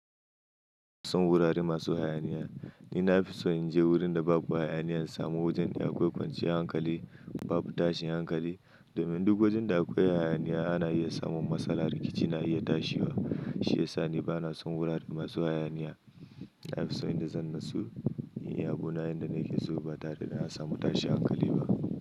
Ba na son wurare masu hayaniya. Ni na fi so in je wurin da babu hayaniya, in samu wajen da akwai kwanciyar hankali, babu tashin hankali. Domin duk wajen da akwai hayaniya ana iya samun matsala, rikici na iya tashi wa. Shi ya sa ni ba na son wurare masu hayaniya. Na fi so inda zan natsu inyi abuna yanda nake so, ba tare da na samu tashin hankali ba.